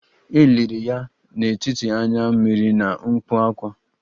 E liri ya n'etiti anya mmiri na mkpu ákwá